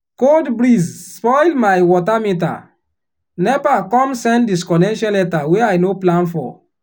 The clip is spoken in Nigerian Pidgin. cold breeze spoil my water meter nepa come send disconnection letter wey i no plan for.